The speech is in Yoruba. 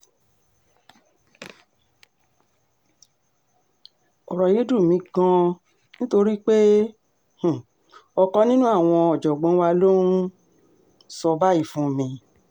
ọ̀rọ̀ yìí dùn mí gan-an nítorí pé um ọ̀kan nínú àwọn ọ̀jọ̀gbọ́n wa ló ń um sọ báyìí fún mi